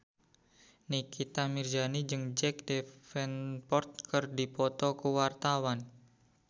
Nikita Mirzani jeung Jack Davenport keur dipoto ku wartawan